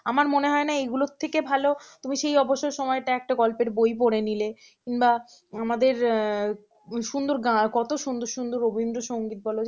আমার মনে হয় না এগুলোর থেকে ভালো তুমি সেই অবসর সময়টা একটা গল্পের বই পড়ে নিলে কিম্বা আমাদের সুন্দর গান কত সুন্দর সুন্দর রবীন্দ্র সংগীত বলো